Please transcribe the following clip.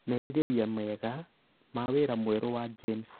merirĩria mega ma wĩra mwerũ wa James